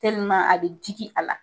a bɛ jigi a la.